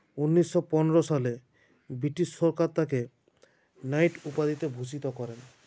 উনিশো পনেরো সালে বৃটিশ সরকার তাঁকে নাইট উপাধিতে ভূষিত করেন